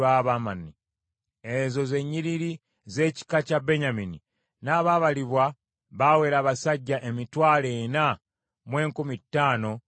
Ezo ze nnyiriri z’ekika kya Benyamini; n’abaabalibwa baawera abasajja emitwalo ena mu enkumi ttaano mu lukaaga (45,600).